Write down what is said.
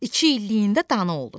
İki illiyində dana olur.